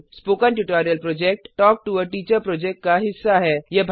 spoken tutorial talk to a teacher project का हिस्सा है